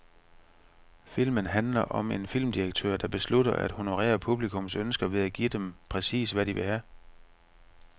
Filmen handler om en filmdirektør, der beslutter at honorere publikums ønsker ved at give dem præcis, hvad de vil have.